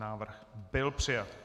Návrh byl přijat.